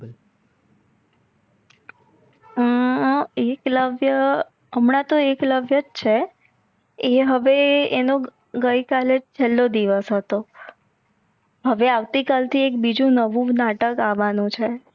હમ એકલવ્ય હમણાં તો એકલવ્યજ છે આ હવે આનો ગઇકાલે છેલ્લો દિવસ હતો હવે આવતીકાલ થી બીજી નવું નાટક અવનું છે.